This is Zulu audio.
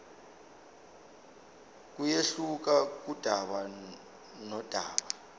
kuyehluka kudaba nodaba